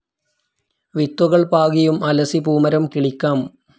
വിത്തുകൾ പാകിയും അലസിപൂമരം കിളിക്കാം.